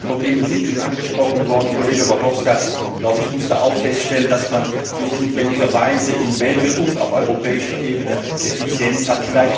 Innenpolitische Probleme sind schon angesprochen worden und Kollege Verhofstadt musste auch feststellen, dass man nicht notwendigerweise in Belgien und auf europäischer Ebene Effizienz hat.